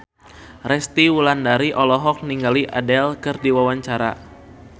Resty Wulandari olohok ningali Adele keur diwawancara